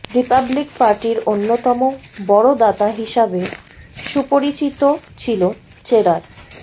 Republic পার্টির অন্যতম বড় দাতা হিসাবে সুপরিচিতও ছিল চেরার